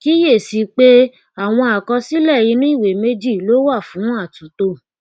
kíyèsí i pé àwọn àkọsílẹ inu ìwé méjì lo wà fún àtúntò